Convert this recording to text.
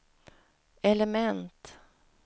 element